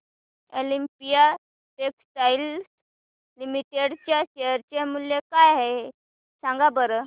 Olympia textiles limited चे share मूल्य काय आहे सांगा बरं